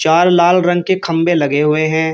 लाल रंग के खंबे लगे हुए हैं।